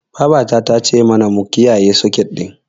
Babata ta ce mana mu kiyayi seket ɗin.